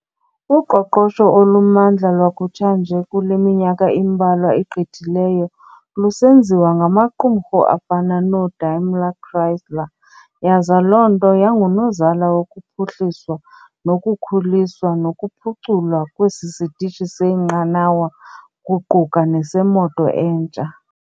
Uqoqosho olumandla lwakutsha nje kuleminyaka imbalwa igqithileyo, lusenziwa ngamaqumrhu afana noo-Daimler Chrysler, yaza loo nto yangunozala wokuphuhliswa nokukhuliswa nokuphuculwa kwesi sitishi seenqanawa kuquka nesemoto entsha.